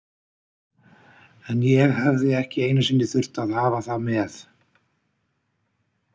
En ég hefði ekki einu sinni þurft að hafa það með.